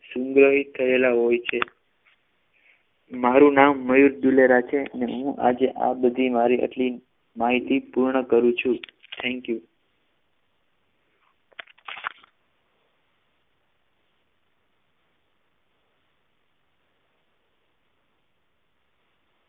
સુન્ગ્રહિત થયેલા હોય છે મારું નામ મયુર દુલેરા છે ને હું આજે મારી આ બધી આટલી માહિતી પૂર્ણ કરું છું thank you